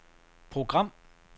program